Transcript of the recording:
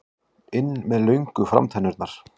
inn með löngu framtennurnar.